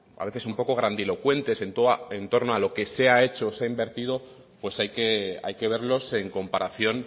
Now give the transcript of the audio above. a a veces un poco grandilocuentes en torno a lo que se ha hecho o se ha invertido pues hay que verlos en comparación